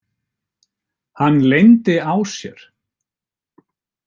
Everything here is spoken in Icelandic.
Hann leyndi á sér.